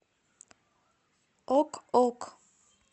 ок ок